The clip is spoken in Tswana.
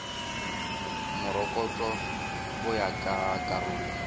morokotso go ya ka karolo